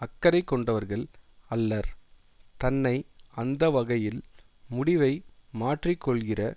அக்கறைகொண்டவர்கள் அல்லர் தன்னை அந்த வகையில் முடிவை மாற்றிக்கொள்கிற